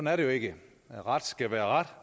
er det jo ikke ret skal være ret